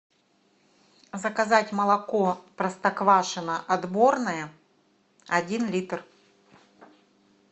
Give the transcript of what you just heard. заказать молоко простоквашино отборное один литр